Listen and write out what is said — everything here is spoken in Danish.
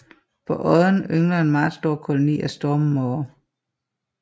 På odden yngler en meget stor koloni af stormmåger